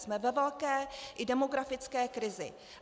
Jsme ve velké i demografické krizi.